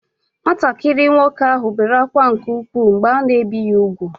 Nwatakịrị nwoke ahụ bere akwa nke ụkwụ mgbe a na ebi ya ugwu